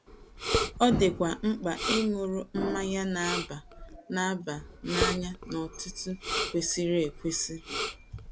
Ọ dịkwa mkpa ịṅụru mmanya na - aba na - aba n’anya n’ọ̀tụ̀tụ̀ kwesịrị ekwesị.